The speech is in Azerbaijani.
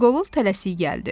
Qırqovul tələsik gəldi.